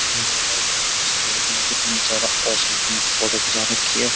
इस लड़के ने कितनी ज्यादा ओसम अपनी फोटो खीचा रखी है।